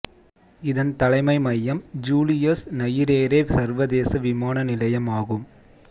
இதன் தலைமை மையம் ஜூலியஸ் நையிரேரே சர்வதேச விமான நிலையம் ஆகும்